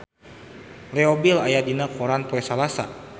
Leo Bill aya dina koran poe Salasa